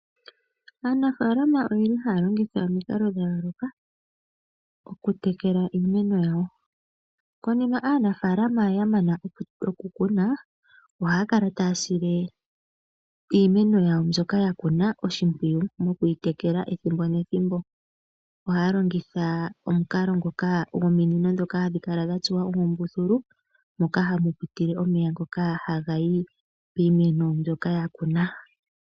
Aanafaalama oyeli haya longitha omikalo dha yooloka oku tekela iimeno yawo. Konima ohaya kala taya sile iimeno yawo mbyoka yakuna oshipwiyu mokuyi tekela ethimbo nethimbo. Ohaya longitha omukalo ngoka gwominino ndhoka hadhi kala dhatsuwa oombululu moka hamu pitile omeya ngoka hagayi piimeno mbyoka yakuna.